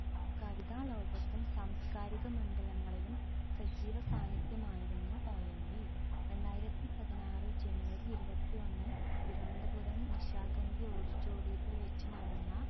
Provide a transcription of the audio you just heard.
കവിതാ ലോകത്തും സാംസ്‌കാരിക മണ്ഡലങ്ങളിലും സജീവ സാന്നിധ്യമായിരുന്നു ONV രണ്ടായിരത്തി പതിനാറ് ജനുവരി ഇരുവത്തിയൊന്ന് തിരുവനന്തപുരം നിശാഗന്ധി auditorium ത്തിൽ വെച്ച് നടന്ന